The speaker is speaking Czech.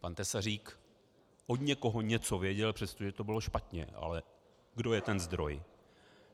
Pan Tesařík od někoho něco věděl, přestože to bylo špatně, ale kdo je ten zdroj.